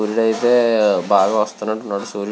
అయితే బాగా వస్తునట్టు ఉన్నారు సూర్యు --